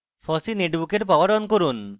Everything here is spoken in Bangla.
fossee netbook poweroff অন করুন